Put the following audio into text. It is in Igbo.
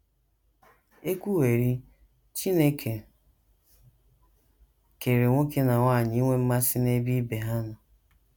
E kwuwerị, Chineke kere nwoke na nwanyị inwe mmasị n’ebe ibe ha nọ.